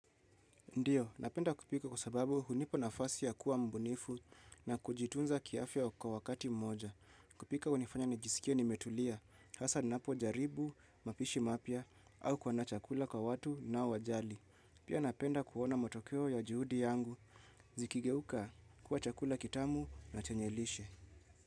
Ndio, napenda kupika kwa sababu hunipa nafasi ya kuwa mbunifu na kujitunza kiafya kwa wakati mmoja. Kupika hunifanya nijisikie nimetulia, hasa napo jaribu, mapishi mapya, au kwa na chakula kwa watu nao wajali. Pia napenda kuona matokeo ya juhudi yangu. Zikigeuka kuwa chakula kitamu na chenye lishe.